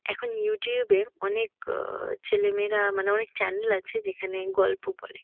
এখন ইউটিউব -এ অনেক আহ ছেলেমেয়েরা মানে অনেক চ্যানেল আছে যেখানে গল্প বলে।